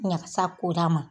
Ɲagasa ko d'a ma